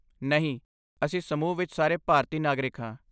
ਨਹੀਂ, ਅਸੀਂ ਸਮੂਹ ਵਿੱਚ ਸਾਰੇ ਭਾਰਤੀ ਨਾਗਰਿਕ ਹਾਂ।